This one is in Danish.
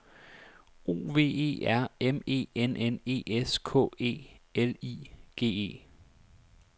O V E R M E N N E S K E L I G E